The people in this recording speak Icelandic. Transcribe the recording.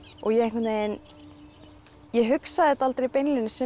og ég einhvern veginn ég hugsaði þetta aldrei beinlínis sem